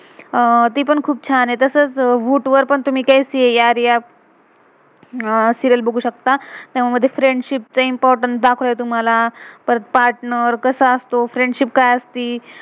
अह ती पण खुप छान आहे. तसच वू voot वर पण पण तुम्ही कैसी हे ये यारियां. सीरियल serial बघू शकता. त्यामध्ये फ्रेंडशिप friendship चं इम्पोर्टेंस importance दाखवलय तुम्हाला. परत पार्टनर partner कसा असतो, फ्रेंडशिप friendship का्य असते.